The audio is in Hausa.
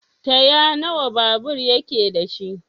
Taya nawa babur yake dashi?